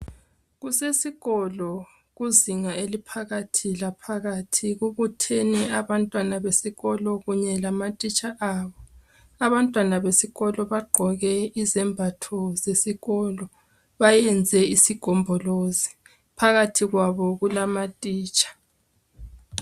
Kusesikolo kuzinga eliphakathi laphakathi kokutheni abantwana besikolo kunye lamatitsha abo. Abantwana besikolo bagqoke izembatho zesikolo, bayenze isigombolozi. Phakathi kwabo kulamatitsha.